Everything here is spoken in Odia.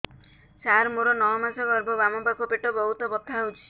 ସାର ମୋର ନଅ ମାସ ଗର୍ଭ ବାମପାଖ ପେଟ ବହୁତ ବଥା ହଉଚି